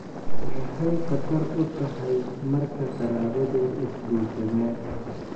Maxay khatar u tahay marka qaraabadu is guursadaan?